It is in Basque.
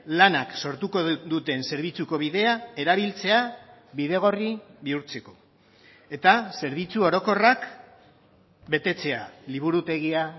lanak sortuko duten zerbitzuko bidea erabiltzea bidegorri bihurtzeko eta zerbitzu orokorrak betetzea liburutegia